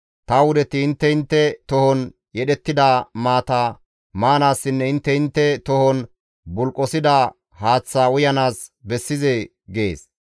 Ta wudeti intte intte tohon yedhettida maata maanaassinne intte intte tohon bulqosida haaththaa uyanaas bessizee?› gees.